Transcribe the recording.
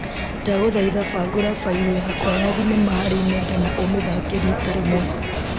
Ndagũthaitha bangũra bairũ yakwa ya thinema harĩ nenda na ũmĩthake rita rĩmwe.